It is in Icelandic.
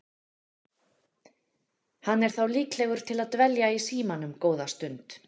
Hann er þá líklegur til að dvelja í símanum góða stund.